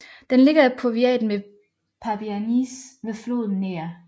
Den ligger i powiaten Pabianice ved floden Ner